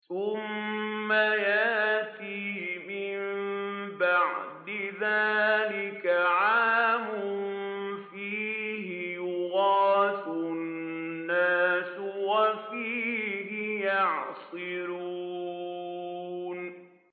ثُمَّ يَأْتِي مِن بَعْدِ ذَٰلِكَ عَامٌ فِيهِ يُغَاثُ النَّاسُ وَفِيهِ يَعْصِرُونَ